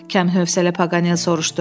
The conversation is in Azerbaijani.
Kəmhəsələ Paqanel soruşdu.